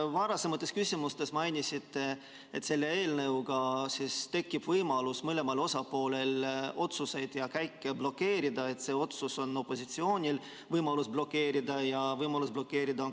Varasematele küsimustele vastates mainisite, et selle eelnõuga tekib võimalus mõlemal osapoolel otsuseid ja käike blokeerida, st opositsioonil on võimalus blokeerida ja ka koalitsioonil on võimalus blokeerida.